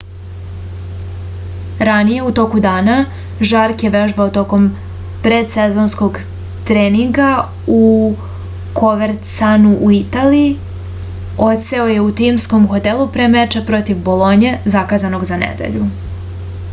ranije u toku dana žark je vežbao tokom predsezonskog treninga u kovercianu u italiji odseo je u timskom hotelu pre meča protiv bolonje zakazanog za nedelju